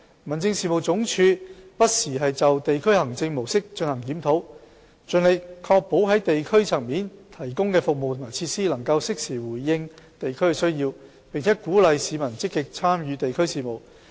民政事務總署不時就地區行政模式進行檢討，盡力確保在地區層面提供的服務和設施能夠適時回應地區需要，並鼓勵市民積極參與地區事務。